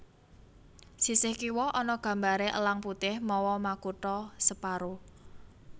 Sisih kiwa ana gambaré Elang Putih mawa makutha separo